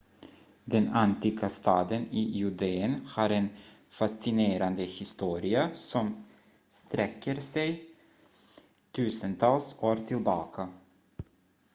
den antika staden i judeen har en fascinerande historia som sträcker sig tusentals år tillbaka